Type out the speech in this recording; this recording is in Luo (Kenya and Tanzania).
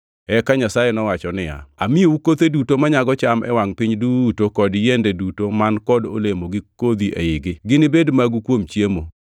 Eka Nyasaye nowacho niya, “Amiyou kothe duto manyago cham e wangʼ piny duto kod yiende duto man kod olemo gi kodhi eigi. Ginibed magu kuom chiemo.